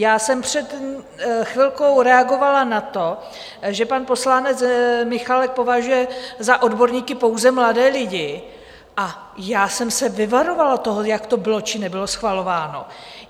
Já jsem před chvilkou reagovala na to, že pan poslanec Michálek považuje za odborníky pouze mladé lidi, a já jsem se vyvarovala toho, jak to bylo či nebylo schvalováno.